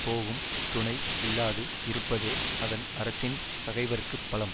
போகும் துணை இல்லாது இருப்பதே அதன் அரசின் பகைவர்க்கு பலம்